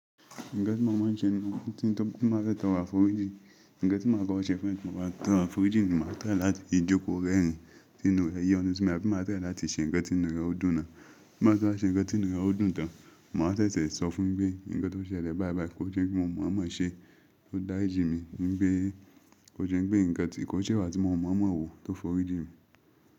Nǹkan tí mo máa ń ṣe ni tí mo bá fẹ́ tọrọ àforíjì, nǹkan tí mo máa kọkọ ṣe fún ẹ́ tí mo bá tọrọ àforíjì ni mo máa try láti jókò rẹ́rìn ínínú rẹ́ yọ́ ni sí mi, ẹbí máa tẹ̀lé láti ṣe nǹkan tí inú rẹ ó dùn náà. Bí mo bá ṣe nǹkan tí inú rẹ ó dùn tán, mo máa ṣẹ̀ṣẹ̀ sọ fún ẹ pé nǹkan tó ṣẹlẹ̀ bá bàá, kó jẹ́ kí mo mọ̀ ọ́n mọ́ ṣe, ko dá rìjì mi ní pé kó jẹ́ pé nǹkan tí kò ṣẹ́wà tí mo mọ̀ ọ́n mọ́ òwú tó fọ rí jìn mi.